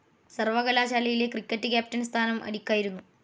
സർവകലാശാലയിലെ cricket captain സ്ഥാനം അലിക്കായിരുന്നു.